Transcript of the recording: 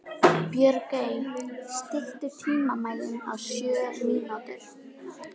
Björgey, stilltu tímamælinn á sjö mínútur.